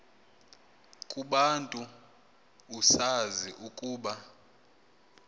kubantu usazi ukuba